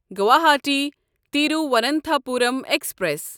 Guwahati Thiruvananthapuram express